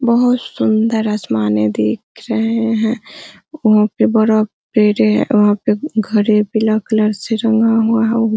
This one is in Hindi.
बहुत सुन्दर आसमाने दिख रहे है वहाँ पे बड़ा पेड़े है वहाँ पे घरे पीला कलर से रंगा हुआ है |